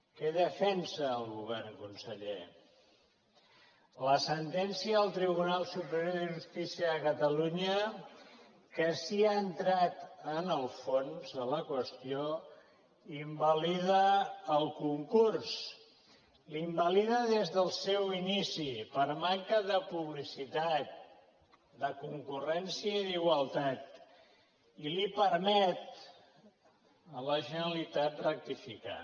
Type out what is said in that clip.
què defensa el govern conseller la sentència del tribunal superior de justícia de catalunya que sí que ha entrat en el fons de la qüestió invalida el concurs l’invalida des del seu inici per manca de publicitat de concurrència i d’igualtat i li permet a la generalitat rectificar